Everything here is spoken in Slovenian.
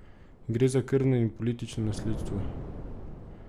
Gre za krvno in politično nasledstvo.